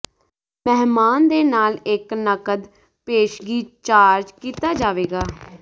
ਮਹਿਮਾਨ ਦੇ ਨਾਲ ਇੱਕ ਨਕਦ ਪੇਸ਼ਗੀ ਚਾਰਜ ਕੀਤਾ ਜਾਵੇਗਾ